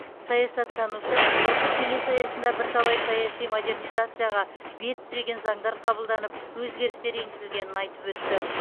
саясаттанушы ұлттық кеңес аясында бірталай саяси модернизацияға бет түзеген заңдар қабылданып өзгерістер енгізілгенін айтып өтті